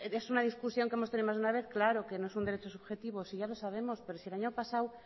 es una discusión que hemos tenido más de una vez claro que no es un derecho subjetivo si ya lo sabemos pero si el año pasado